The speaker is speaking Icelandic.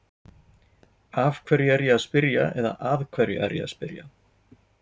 Af hverju er ég að spyrja eða að hverju er ég að spyrja?